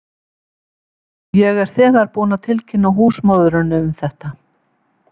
Ég er þegar búinn að tilkynna húsmóðurinni um þetta.